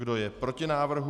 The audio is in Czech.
Kdo je proti návrhu?